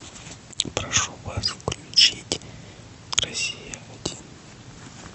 прошу вас включить россия один